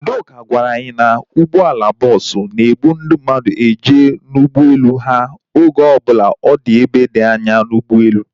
Udoka gwara anyi na ụgbọala bọọsu na-ebu ndị mmadụ eje n'ụgbọelu ha oge ọbụla ọ dị ebe dị anya n'ugboelu